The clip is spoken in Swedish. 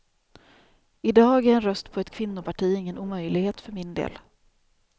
I dag är en röst på ett kvinnoparti ingen omöjlighet för min del.